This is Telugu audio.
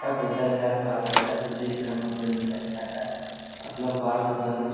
బుద్ధ విహార్ పార్క్ దగ్గర బుద్ధ విగ్రహం ఉంటుంది కచ్చితంగా. ]